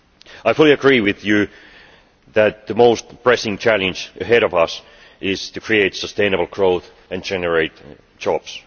I fully agree with you that the most pressing challenge ahead of us is to create sustainable growth and generate jobs.